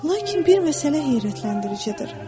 Lakin bir məsələ heyrətləndiricidir.